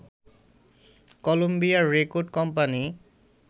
Colombia record company